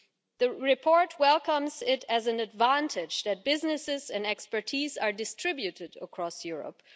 The report welcomes as an advantage that businesses and expertise are distributed across Europe.